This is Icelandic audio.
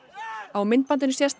á myndbandinu sést